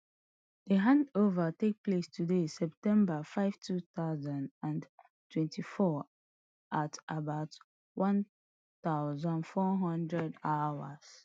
di handover take place today september five two thousand and twenty-four at about one thousand, four hundredhrs